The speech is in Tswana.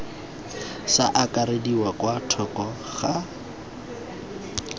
sa akarediwa kwa thoko ga